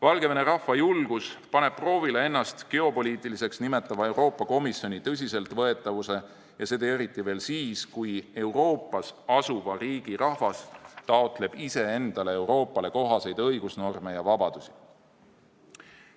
Valgevene rahva julgus paneb proovile ennast geopoliitiliseks nimetava Euroopa Komisjoni tõsiseltvõetavuse, ja seda eriti siis, kui Euroopas asuva riigi rahvas taotleb endale Euroopale kohaseid õigusnorme ja vabadusi.